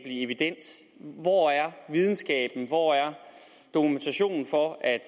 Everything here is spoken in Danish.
evidens hvor er videnskaben hvor er dokumentationen for at